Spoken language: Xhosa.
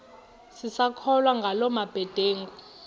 sisakholwa ngala mabedengu